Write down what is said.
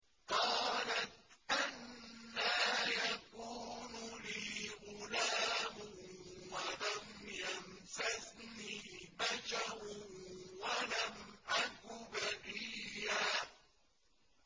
قَالَتْ أَنَّىٰ يَكُونُ لِي غُلَامٌ وَلَمْ يَمْسَسْنِي بَشَرٌ وَلَمْ أَكُ بَغِيًّا